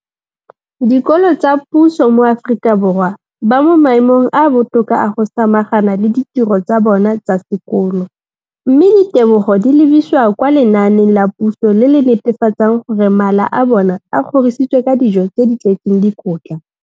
Dikolo tsa puso mo Aforika Borwa ba mo maemong a a botoka a go ka samagana le ditiro tsa bona tsa sekolo, mme ditebogo di lebisiwa kwa lenaaneng la puso le le netefatsang gore mala a bona a kgorisitswe ka dijo tse di tletseng dikotla.